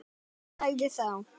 Sagði þá